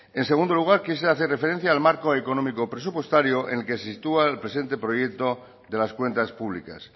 en segundo lugar quisiera hacer referencia al marco económico presupuestario en el que se sitúa el presente proyecto de las cuentas públicas